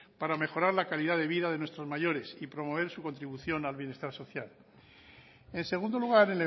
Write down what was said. para mejorar la calidad de vida de nuestros mayores y promover su contribución al bienestar social en segundo lugar